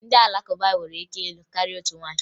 Ndị Alakụba nwere ike ịlụ karịa otu nwaanyị